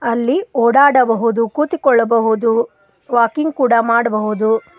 ಅಲ್ಲಿ ಓಡಾಡಬಹುದು ಕೂತಿಕೊಳ್ಳಬಹುದು ವಾಕಿಂಗ್ ಕೂಡ ಮಾಡಬಹುದು.